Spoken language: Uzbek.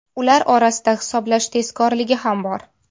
Ular orasida hisoblash tezkorligi ham bor.